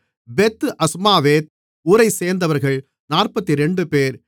பெத் Azmaveth ஊரைச்சேர்ந்தவர்கள் 42 பேர்